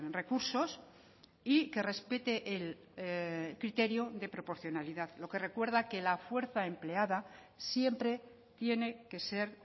recursos y que respete el criterio de proporcionalidad lo que recuerda que la fuerza empleada siempre tiene que ser